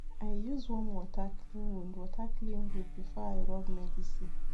i use warm water clean wound water clean wound before i rub medicine